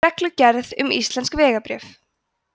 reglugerð um íslensk vegabréf